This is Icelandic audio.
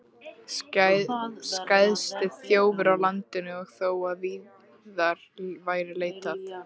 Skæðasti þjófur á landinu og þó að víðar væri leitað!